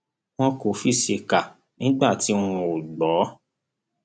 wọn kò fi ṣèkà nígbà tí wọn ò gbọ